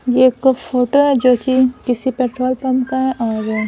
ये एक फोटो है जो कि किसी पेट्रोल पंप का है और --